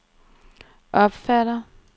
opfatter